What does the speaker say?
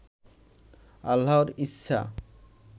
আল্লাহর ইচ্ছা